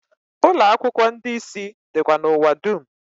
Ụlọakwụkwo ndi isi dikwa n’ụwa dum